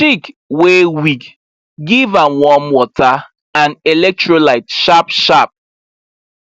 chick wey weak give am warm water and electrolyte sharpsharp